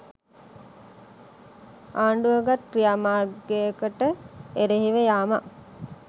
ආණ්ඩුව ගත් ක්‍රියාමාර්ගයකට එරෙහිව යාමක්